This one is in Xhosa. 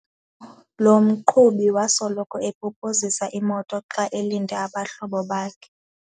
Lo mqhubi wasoloko epopozisa imoto xa elinde abahlobo bakhe.